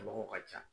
Mɔgɔw ka ca